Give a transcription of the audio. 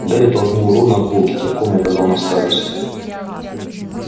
гарри толкнул рона в бок и кивком указал на старосту